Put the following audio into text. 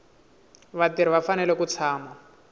vatirhi va fanele ku tshama